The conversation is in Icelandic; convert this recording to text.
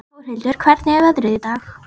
Þórhildur, hvernig er veðrið í dag?